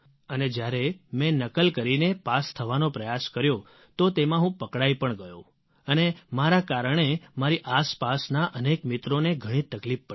અને જ્યારે મેં નકલ કરીને પાસ થવાનો પ્રયાસ કર્યો તો તેમાં હું પકડાઇ પણ ગયો અને મારા કારણે મારી આસપાસના અનેક મિત્રોને ઘણી તકલીફ પડી